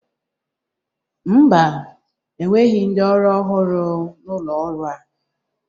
Mba, e nweghi ndi ọrụ ọhụrụ n'ụlọ ọrụ a.